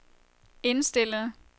indstillet